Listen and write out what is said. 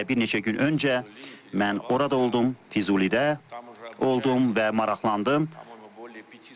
Elə bir neçə gün öncə mən orada oldum, Füzulidə oldum və maraqlandım.